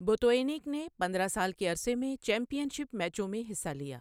Botvinnik نے پندرہ سال کے عرصے میں چیمپئن شپ میچوں میں حصہ لیا۔